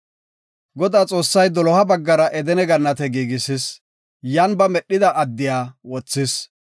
Godaa Xoossay doloha baggara Edene gannate giigisis; yan ba medhida addiya wothis.